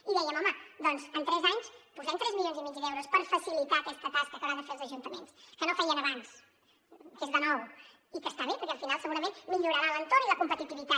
i dèiem home doncs en tres anys posem tres milions i mig d’euros per facilitar aquesta tasca que hauran de fer els ajuntaments que no feien abans que és de nou i que està bé perquè al final segurament millorarà l’entorn i la competitivitat